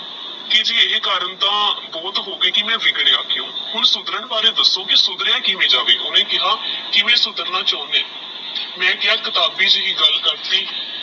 ਕੇ ਜੀ ਇਹ ਕਾਰਨ ਤਾ ਬਹੁਤ ਹੋ ਗਏ ਮੈ ਬਿਗੜਿਆ ਕਿਊ ਹੁਣ ਸੁਧਰਨ ਬਾਰੇ ਦਸੋ ਕੀ ਸੁਧ੍ਰੇਯਾ ਕਿਵੇ ਜਾਵੇ ਓਹਨੇ ਕੇਹਾ ਕਿਵੇ ਸੁਧਰਨਾ ਚੁਣਦੇ ਆਹ ਮੈ ਕੇਹਾ ਕਿਤਾਬੀ ਜੀ ਗੱਲ ਕਰਦੀ